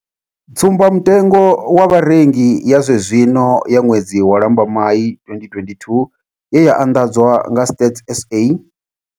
Tsumbamutengo wa Vharengi ya zwenezwino ya ṅwedzi wa Lambamai 2022 ye ya anḓadzwa nga Stats SA.